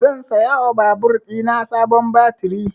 Zan saya wa babur ɗina sabon baturi